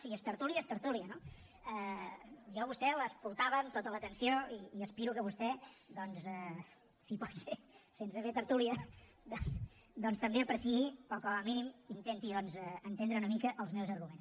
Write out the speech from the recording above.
si és tertúlia és tertúlia no jo a vostè l’escoltava amb tota l’atenció i aspiro que vostè si pot ser sense fer tertúlia doncs també apreciï o com a mínim intenti entendre una mica els meus arguments